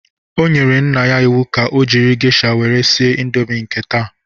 O nyere nne ya iwu ka o jiri gesha were sie ịndomi nke taa!